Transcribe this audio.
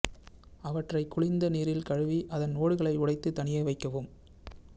அவற்றை குளிர்ந்த நீரில் கழுவி அதன் ஓடுகளை உடைத்து தனியே வைக்கவும்